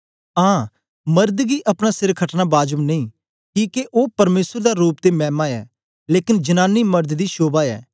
आं मर्द गी अपना सिर खटना बाजब नेई किके ओ परमेसर दा रूप ते मैमा ऐ लेकन जनांनी मड़द दी शोभा ऐ